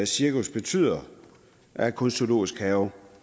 cirkus betyder at kun zoologiske haver